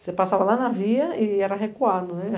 Você passava lá na via e era recuado, né?